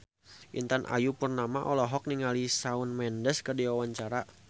Intan Ayu Purnama olohok ningali Shawn Mendes keur diwawancara